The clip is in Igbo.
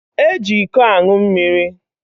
Eji iko ańụ mmiri